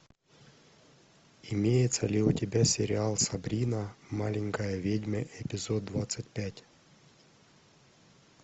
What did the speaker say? имеется ли у тебя сериал сабрина маленькая ведьма эпизод двадцать пять